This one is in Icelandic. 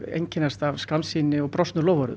einkennast af skammsýni og brotnum loforðum